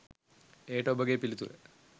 එයට ඔබගේ පිළිතුර